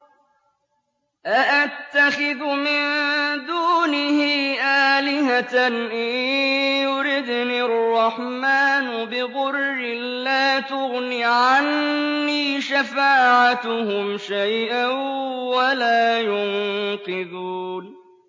أَأَتَّخِذُ مِن دُونِهِ آلِهَةً إِن يُرِدْنِ الرَّحْمَٰنُ بِضُرٍّ لَّا تُغْنِ عَنِّي شَفَاعَتُهُمْ شَيْئًا وَلَا يُنقِذُونِ